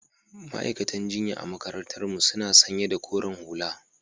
Ma'aiƙatan jinƴa a maƙarantar mu suna sanƴa da ƙoren hula.